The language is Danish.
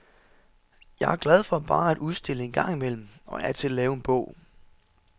Jeg er glad for bare at udstille en gang imellem og af og til at lave en bog.